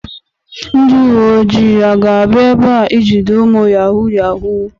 Ndi uwe ojii ga-abia ebea ijide umu yahoo yahoo?